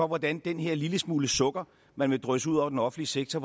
hvordan den her lille smule sukker man vil drysse ud over den offentlige sektor